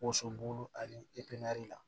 Woso bulu ani la